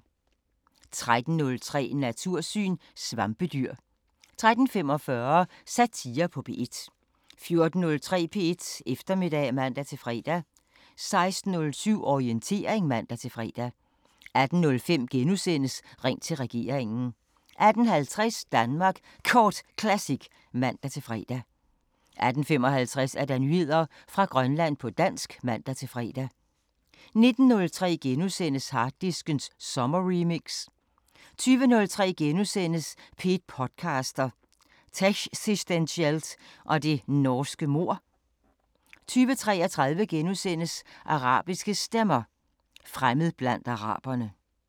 13:03: Natursyn: Svampedyr 13:45: Satire på P1 14:03: P1 Eftermiddag (man-fre) 16:07: Orientering (man-fre) 18:05: Ring til regeringen * 18:50: Danmark Kort Classic (man-fre) 18:55: Nyheder fra Grønland på dansk (man-fre) 19:03: Harddisken sommerremix * 20:03: P1 podcaster – Techsistentielt og det norske mord * 20:33: Arabiske Stemmer: Fremmed blandt araberne *